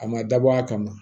A ma dabɔ a kama